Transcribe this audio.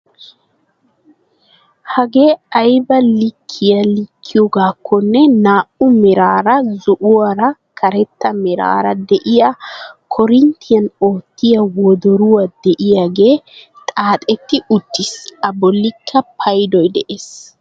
Hagee aybaa likkiyaa likkiyoogakonne naa"u meraara zo"uwaara karetta meraara de'iyaa korinttiyaan oottiyaa wodoroy de'iyoogee xaaxetti uttiis. a bollikka paydoy de'ees.